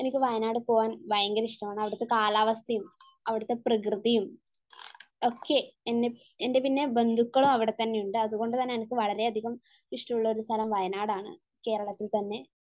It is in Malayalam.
എനിക്ക് വയനാട് പോവാൻ ഭയങ്കര ഇഷ്ടമാണ് അവിടുത്തെ കാലാവസ്ഥയും അവിടുത്തെ പ്രകൃതിയും ഒക്കെ എൻ്റെ പിന്നെ ബന്ധുക്കളും അവിടെത്തന്നെയുണ്ട്. അതുകൊണ്ട് തന്നെ എനിക്ക് വളരെയധികം ഇഷ്ടമുള്ള ഒരു സ്ഥലം വയനാട് ആണ്, കേരളത്തിൽ തന്നെ